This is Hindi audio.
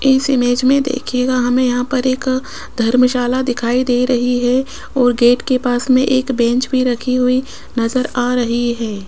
इस इमेज में देखिएगा हमें यहां पर एक धर्मशाला दिखाई दे रही है और गेट के पास में एक बेंच भी रखी हुई नजर आ रही है।